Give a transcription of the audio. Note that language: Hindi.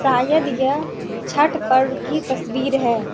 शायद यह छठ पर्व की तस्वीर है।